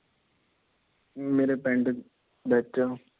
ਮੇਰੇ ਪਿੰਡ ਵਿੱਚ